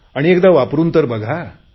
आणि एकदा वापरुन तर बघा